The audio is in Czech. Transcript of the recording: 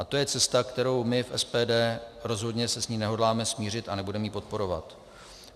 A to je cesta, kterou my v SDP, rozhodně se s ní nehodláme smířit a nebudeme ji podporovat.